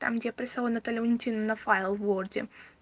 там где прислала наталья валентина файл в ворде